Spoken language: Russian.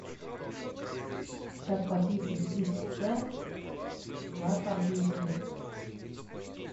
как почистить диск ц на компьютере